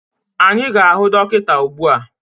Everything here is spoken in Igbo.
Anyị a ga-ahụ dọkịta ugbu a?